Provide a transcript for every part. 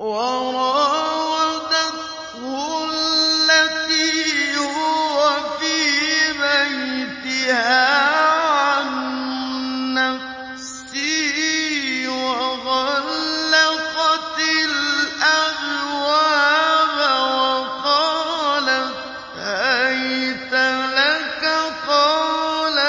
وَرَاوَدَتْهُ الَّتِي هُوَ فِي بَيْتِهَا عَن نَّفْسِهِ وَغَلَّقَتِ الْأَبْوَابَ وَقَالَتْ هَيْتَ لَكَ ۚ قَالَ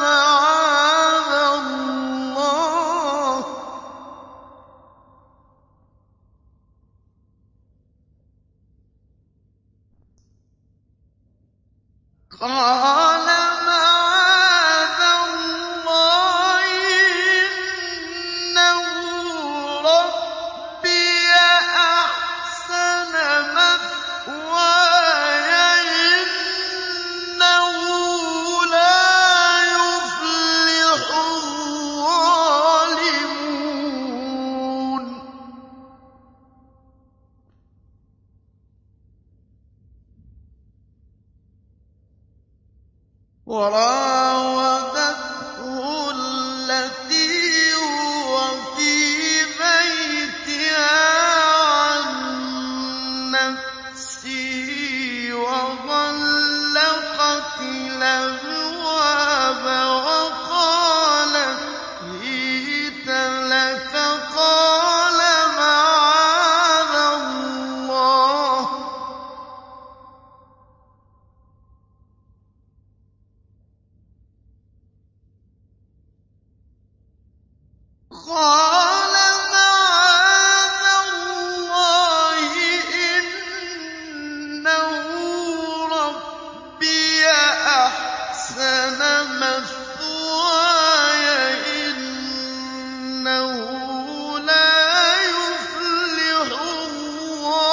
مَعَاذَ اللَّهِ ۖ إِنَّهُ رَبِّي أَحْسَنَ مَثْوَايَ ۖ إِنَّهُ لَا يُفْلِحُ الظَّالِمُونَ